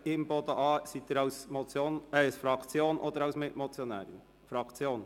Imboden für die Fraktion der Grünen oder als Mitmotionärin?